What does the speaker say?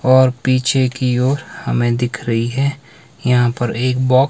और पीछे की ओर हमें दिख रही है यहां पर एक बॉक--